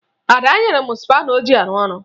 Ada nyere m spana o ji arụ ọrụ